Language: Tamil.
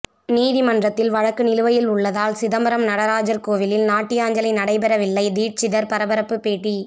நீதிமன்றத்தில் வழக்கு நிலுவையில் உள்ளதால் சிதம்பரம் நடராஜர் கோயிலில் நாட்டியாஞ்சலி நடைபெறவில்லை தீட்சிதர் பரபரப்பு பேட்டி